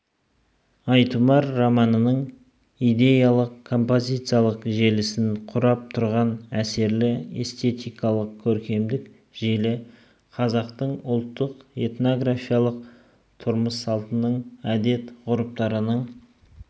айтұмар романының идеялық-композициялық желісін құрап тұрған әсерлі эстетикалық-көркемдік желі қазақтың ұлттық-этнографиялық тұрмыссалтының әдет-ғұрыптарының